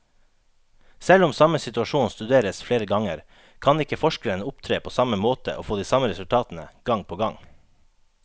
Selv om samme situasjon studeres flere ganger, kan ikke forskeren opptre på samme måte og få de samme resultatene gang på gang.